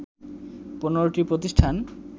১৫টি প্রতিষ্ঠান